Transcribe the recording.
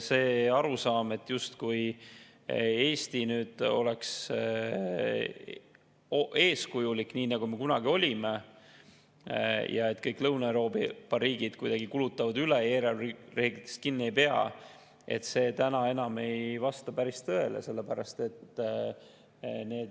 See arusaam, justkui Eesti oleks eeskujulik, nii nagu me kunagi olime, ja et kõik Lõuna-Euroopa riigid kulutavad üle, eelarvereeglitest kinni ei pea, täna enam ei vasta päris tõele.